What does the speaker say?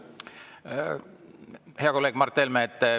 Hea kolleeg Mart Helme!